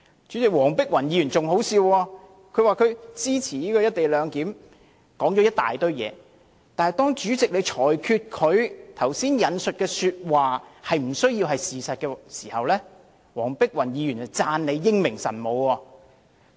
主席，黃碧雲議員更可笑，她說了一堆話，說自己支持"一地兩檢"中止待續的議案，但當主席裁決她剛才引述的話不需要是事實時，黃碧雲議員便讚主席英明神武。